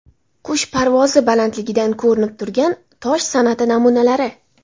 Qush parvozi balandligidan ko‘rinib turgan tosh san’ati namunalari.